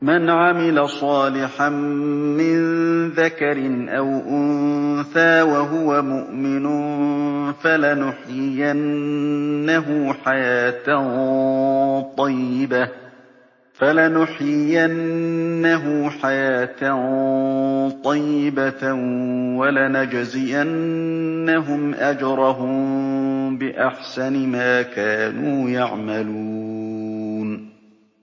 مَنْ عَمِلَ صَالِحًا مِّن ذَكَرٍ أَوْ أُنثَىٰ وَهُوَ مُؤْمِنٌ فَلَنُحْيِيَنَّهُ حَيَاةً طَيِّبَةً ۖ وَلَنَجْزِيَنَّهُمْ أَجْرَهُم بِأَحْسَنِ مَا كَانُوا يَعْمَلُونَ